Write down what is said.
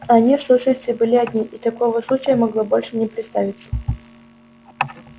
они в сущности были одни и такого случая могло больше не представиться